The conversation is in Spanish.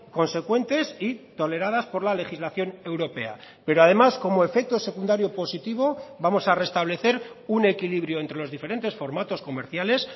consecuentes y toleradas por la legislación europea pero además como efecto secundario positivo vamos a restablecer un equilibrio entre los diferentes formatos comerciales